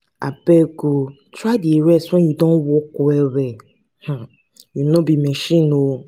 abeg o try dey rest wen you don work well-well um you no be machine.